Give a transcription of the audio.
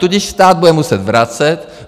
Tudíž stát bude muset vracet.